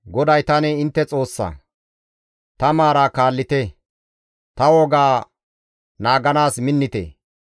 GODAY tani intte Xoossa. Ta maara kaallite; ta wogaa naaganaas minnite.